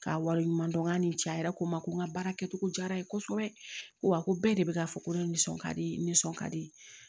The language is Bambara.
K'a wale ɲumandɔn nga nin ja yɛrɛ ko n ma ko n ka baara kɛcogo jara n ye kosɛbɛ ko wa ko bɛɛ de bɛ k'a fɔ ko ne ye nisɔn ka di n nisɔn ka di